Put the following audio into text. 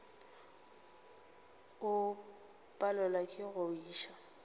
o palelwa ke go iša